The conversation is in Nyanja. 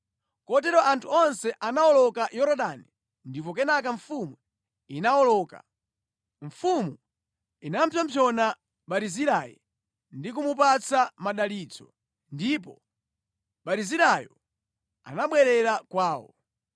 Kotero anthu onse anawoloka Yorodani ndipo kenaka mfumu inawoloka. Mfumu inapsompsona Barizilai ndi kumupatsa madalitso ndipo Barizilaiyo anabwerera kwawo.